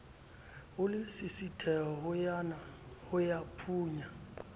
le lesisithehonyana ho ka phunya